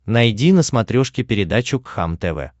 найди на смотрешке передачу кхлм тв